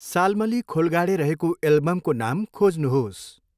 साल्मली खोलगाडे रहेको एल्बमको नाम खोज्नुहोस्।